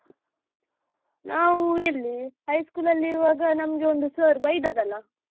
ನಾವು ಎಲ್ಲಿ high school ಅಲ್ಲಿ ಇರುವಾಗ ನಮ್ಗೆ ಒಂದು sir ಬಯ್ದದ್ದಲ್ಲ.